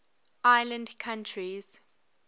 island countries